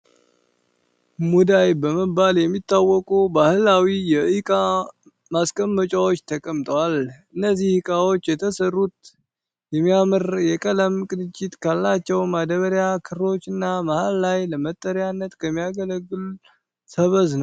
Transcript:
ሙዳይ በመባል የሚታወቁ ባህላዊ የእቃ ማስቀመጫዎች ተቀምጠዋል። እነዚህ እቃዎች የተሰሩት የሚያምር የቀለም ቅንጅት ካላቸው ማዳበሪያ ክሮች እና መሃል ላይ ለመጠሪያነት ከሚያገለግል ሰበዝ ነው።